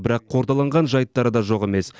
бірақ қордаланған жайттары да жоқ емес